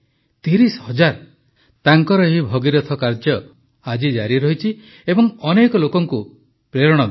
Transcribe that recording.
୩୦ ହଜାର ତାଙ୍କର ଏହି ଭଗୀରଥ କାର୍ଯ୍ୟ ଆଜି ମଧ୍ୟ ଜାରି ରହିଛି ଏବଂ ଅନେକ ଲୋକଙ୍କୁ ପ୍ରେରଣା ଦେଉଛି